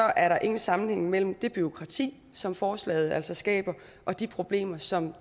er der ingen sammenhæng mellem det bureaukrati som forslaget altså skaber og de problemer som